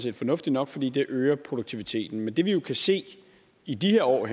er fornuftig nok fordi det øger produktiviteten men det vi kan se i de her år og